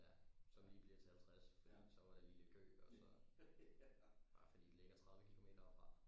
Ja som lige bliver til halvtreds fordi så var der lige lidt kø og så bare fordi det ligger tredive kilometer herfra